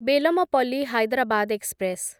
Bellampalli Hyderabad express